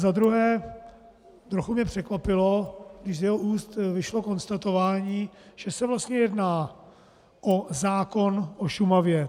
Za druhé, trochu mě překvapilo, když z jeho úst vyšlo konstatování, že se vlastně jedná o zákon o Šumavě.